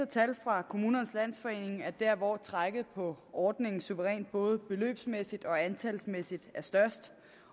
tal fra kommunernes landsforening at der hvor trækket på ordningen suverænt både beløbsmæssigt og antalsmæssigt er størst